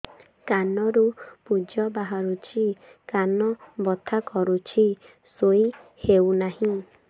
କାନ ରୁ ପୂଜ ବାହାରୁଛି କାନ ବଥା କରୁଛି ଶୋଇ ହେଉନାହିଁ